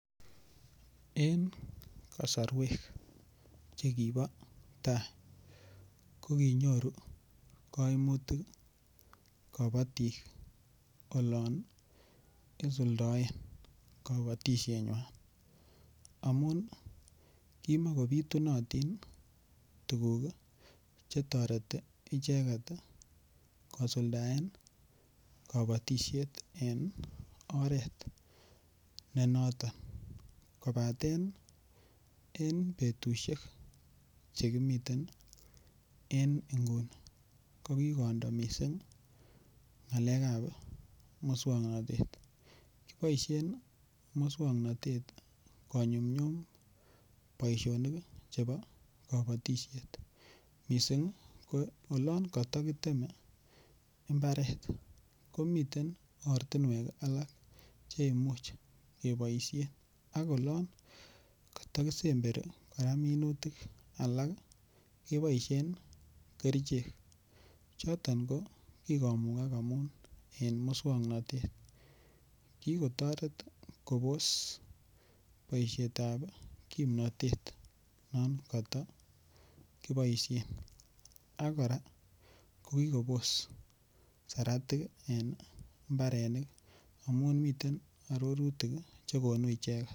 En kasarwek Che kibo tai ko kinyoru kaimutik kabatik olon isuldoen kabatisienywan amun kimakobitunotin tuguk Che toreti icheget kosuldaen kabatisiet en oret ne noton kobaten en betusiek Che kimiten en nguni ko kindo mising ngalekab moswoknatet kiboisien moswoknatet konyumnyum boisionik chebo kabatisiet mising yon koto kiteme mbaret ko miten ortinwek alak Che Imuch keboisien ak oloon kotokisemberi kora minutik keboisien kerichek choton ko ki komugak amun moswoknatet ki kotoret kobos boisietab kimnatet nekoto kiboisien ago kora ki kobos saratik en mbarenik amun miten arorutik chegonu icheget